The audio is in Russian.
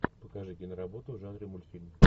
покажи киноработу в жанре мультфильм